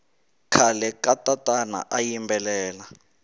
khale katatana ayimbelela